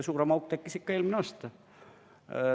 Suurem auk tekkis ikka eelmine aasta.